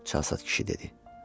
Çalsaç kişi dedi.